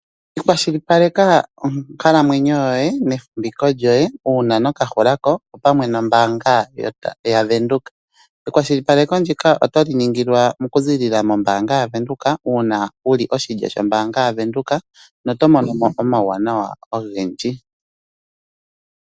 kwashilipaleka onkalamwenyo yoye nefumviko lyoye uuna noka hulako opamwe nombaanga ya Venduka. Ekwashilipaleko ndika otali ningilwa oku ziilila mombaanga ya Venduka, uuna wuli oshilyo shombaanga ya Venduka, noto monomo omauwanawa ogendji.